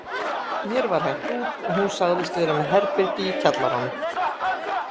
Mér var hent út og hún sagðist vera með herbergi í kjallaranum.